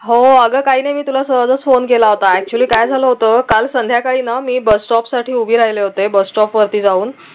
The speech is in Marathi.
हो अगं काही नाही मी तुला सहजच phone केला होता actually काय झालं होत काळ संध्याकाळी ना मी bus stop साठी उभी राहिले होते ते bus stop वरती जाऊन